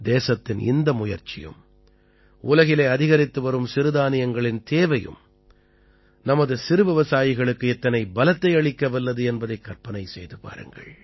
தேசத்தின் இந்த முயற்சியும் உலகிலே அதிகரித்துவரும் சிறுதானியங்களின் தேவையும் நமது சிறுவிவசாயிகளுக்கு எத்தனை பலத்தை அளிக்கவல்லது என்பதை கற்பனை செய்து பாருங்கள்